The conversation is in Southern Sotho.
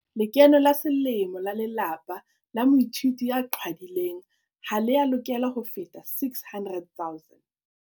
Lekeno la selemo la lelapa la moithuti ya qhwadileng ha le a lokela ho feta R600 000.